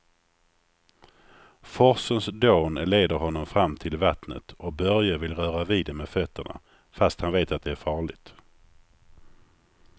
Forsens dån leder honom fram till vattnet och Börje vill röra vid det med fötterna, fast han vet att det är farligt.